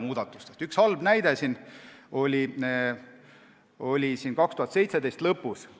Üks halb näide oli 2017. aasta lõpus.